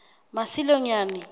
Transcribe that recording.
masilonyane